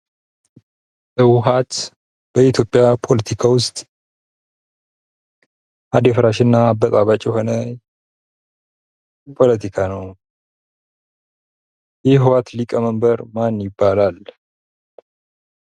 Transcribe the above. ህዋሃት በኢትዮጵያ ፖለቲካ ውስጥ አደፋራሽ እና አበጣባጭ የሆነ ፖለቲካ ነው። የህዋሃት ሊቀመንበር ማን ይባላል?